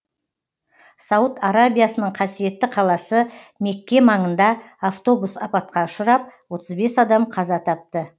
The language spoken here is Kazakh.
сауд арабиясының қасиетті қаласы мекке маңында автобус апатқа ұшырап отыз бес адам қаза тапты